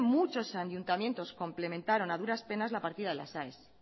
muchos ayuntamientos complementaron a duras penas las partidas de las aes